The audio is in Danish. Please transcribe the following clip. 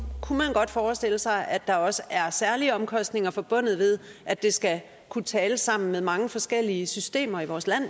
man godt forestille sig at der også er særlige omkostninger forbundet med at de skal kunne tale sammen med mange forskellige systemer i vores land